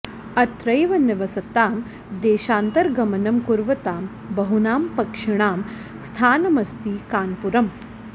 अत्रैव निवसतां देशान्तरगमनं कुर्वतां बहूनां पक्षिणां स्थानमस्ति कानपुरम्